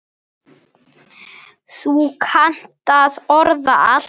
Þú kannt að orða allt.